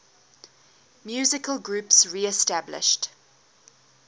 musical groups reestablished